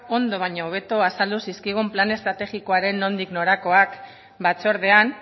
ondo baino hobeto azaldu zaizkigun plan estrategikoaren nondik norakoak batzordean